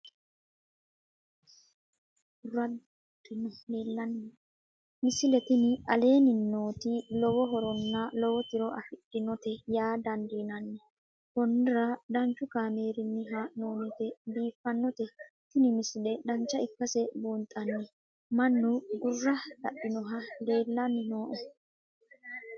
misile tini aleenni nooti lowo horonna lowo tiro afidhinote yaa dandiinanni konnira danchu kaameerinni haa'noonnite biiffannote tini misile dancha ikkase buunxanni mannu gurra dadhinohu leellanni nooe